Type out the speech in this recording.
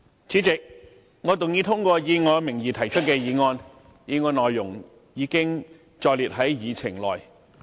主席，我動議通過以我名義提出的議案，議案內容已載列於議程內。